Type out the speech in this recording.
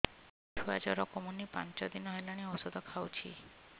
ଛୁଆ ଜର କମୁନି ପାଞ୍ଚ ଦିନ ହେଲାଣି ଔଷଧ ଖାଉଛି